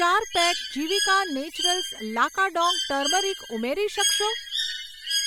ચાર pack Jivika Naturals Lakadong turmeric ઉમેરી શકશો?